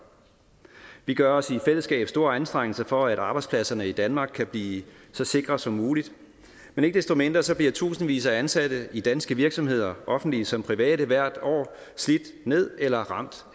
vi gør os i fællesskab store anstrengelser for at arbejdspladserne i danmark kan blive så sikre som muligt men ikke desto mindre bliver tusindvis af ansatte i danske virksomheder offentlige som private hvert år slidt ned eller ramt